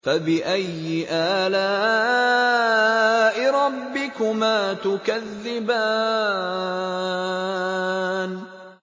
فَبِأَيِّ آلَاءِ رَبِّكُمَا تُكَذِّبَانِ